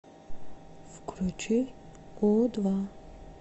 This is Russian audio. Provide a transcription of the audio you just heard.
включи у два